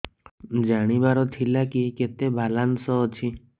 ଜାଣିବାର ଥିଲା କି କେତେ ବାଲାନ୍ସ ଅଛି